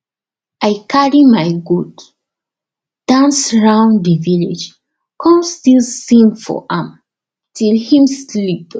i carry my goat dance round the village come still sing for am till him sleep